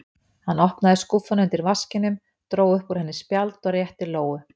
Hann opnaði skúffuna undir vaskinum, dró upp úr henni spjald og rétti Lóu.